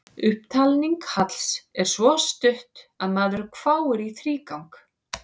Upptalning Halls er svo stutt að maðurinn hváir í þrígang.